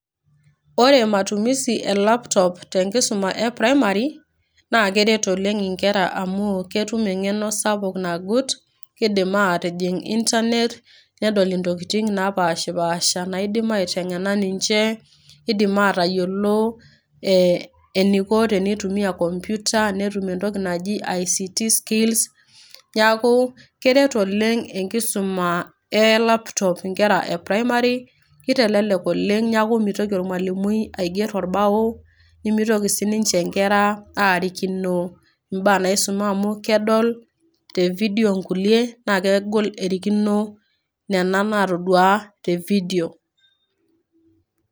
Ore matumisi e laptop te enkisuma e primari naa keret oleng inkera amu ketum engeno sapuk nagut, kidim atijing internet nedol intokitin napashpasha naidim aitengena ninche ,nidim atayiolo ee eniko tenitumia komputa ,netum entoki naji ict skills .Niaku keret oleng enkisuma e laptop inkera e primari nitelelek oleng niaku mitoki ormwalimui aiger orbao ,nimitoki sininche inkera arikino imbaa naisuma amu kedol te video nkulie naa kegol erikino nena natoduaa te video.